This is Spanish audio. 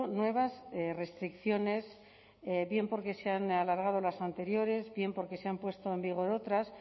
nuevas restricciones bien porque se han alargado las anteriores bien porque se han puesto en vigor otras